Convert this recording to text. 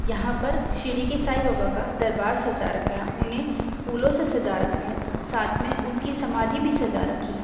यहाँ पर शिरडी के साई बाबा का दरबार सजा रखा है उन्हें फूलों से सजा रखा है साथ मे उनकी समाधि भी सजा रखी है।